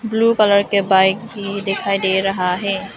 Blue colour के bike भी दिखाई दे रहा है।